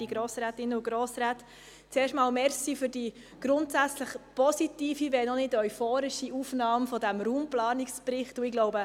Zuerst möchte ich mich für die grundsätzlich positive, wenn auch nicht euphorische Aufnahme dieses Raumplanungsberichts bedanken.